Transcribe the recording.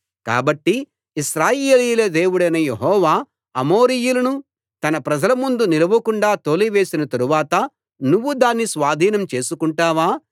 కాబట్టి ఇశ్రాయేలీయుల దేవుడైన యెహోవా అమోరీయులను తన ప్రజలముందు నిలువకుండా తోలివేసిన తరువాత నువ్వు దాన్ని స్వాధీనం చేసుకుంటావా